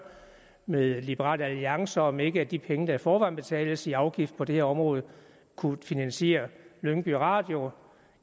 med liberal alliance og om ikke de penge der i forvejen betales i afgift på det her område kunne finansiere lyngby radio